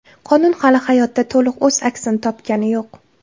Qonun hali hayotda to‘liq o‘z aksini topgani yo‘q.